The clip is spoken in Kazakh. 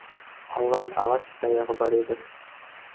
алған ағаш таяғы бар еді